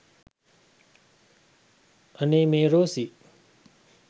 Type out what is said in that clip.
අනේ මේ රෝසි